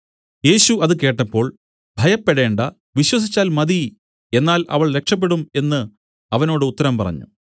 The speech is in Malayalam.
യേശു അതുകേട്ടപ്പോൾ ഭയപ്പെടേണ്ടാ വിശ്വസിച്ചാൽ മതി എന്നാൽ അവൾ രക്ഷപെടും എന്നു അവനോട് ഉത്തരം പറഞ്ഞു